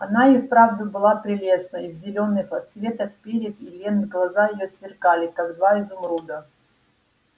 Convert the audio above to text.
она и вправду была прелестна и в зелёных отсветах перьев и лент глаза её сверкали как два изумруда